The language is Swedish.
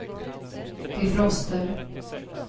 defroster